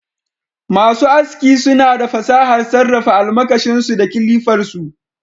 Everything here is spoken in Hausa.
Masu aski suna da fasahar sarrafa almakashin su da kilifar su